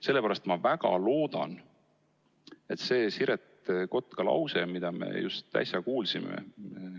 Sellepärast ma väga loodan, et teil on meeles Siret Kotka lause, mida me just äsja kuulsime.